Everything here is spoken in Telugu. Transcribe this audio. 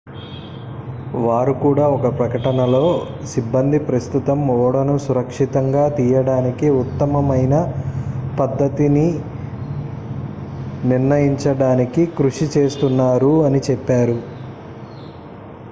"వారు కూడా ఒక ప్రకటనలో "సిబ్బంది ప్రస్తుతం ఓడను సురక్షితంగా తీయడానికి ఉత్తమమైన పద్ధతిని నిర్ణయించడానికి కృషి చేస్తున్నారు""అని చెప్పారు.